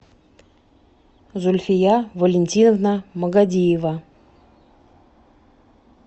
зульфия валентиновна магадиева